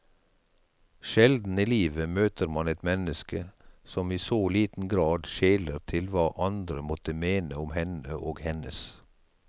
Sjelden i livet møter man et menneske som i så liten grad skjeler til hva andre måtte mene om henne og hennes.